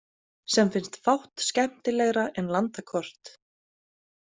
Sem finnst fátt skemmtilegra en landakort.